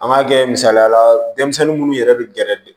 An b'a kɛ misaliyala denmisɛnnin minnu yɛrɛ bɛ gɛrɛ